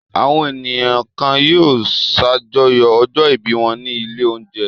Àwọn ènìyàn kan yóò ṣàjọyọ̀ ọjọ́-ìbí wọn ní ilé-oúnjẹ.